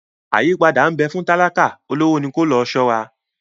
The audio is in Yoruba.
Àyípadà nbè fún talika, olówó ní ko lòó ṣora